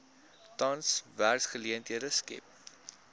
tans werksgeleenthede skep